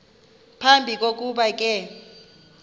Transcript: phambi kokuba ke